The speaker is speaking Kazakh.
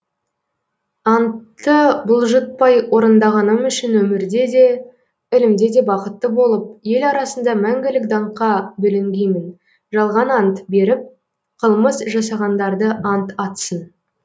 антты бұлжытпай орындағаным үшін өмірде де ілімде де бақытты болып ел арасында мәңгілік даңққа бөленгеймін жалған ант беріп қылмыс жасағандарды ант атсын